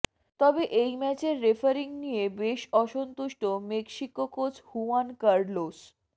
তবে এই ম্যাচের রেফারিং নিয়ে বেশ অসন্তুষ্ট মেক্সিকো কোচ হুয়ান কার্লোস